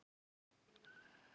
Nemandi: Er þetta ekki rétt?